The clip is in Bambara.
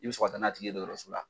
I bi sɔrɔ ka ta n'a tigi ye dɔgɔrso la.